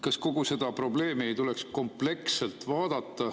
Kas kogu seda probleemi ei tuleks kompleksselt vaadata?